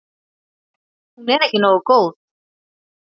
Hún er ekki nógu góð.